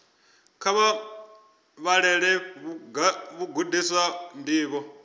kha vha vhalele vhagudiswa ndivho